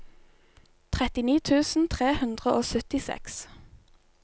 trettini tusen tre hundre og syttiseks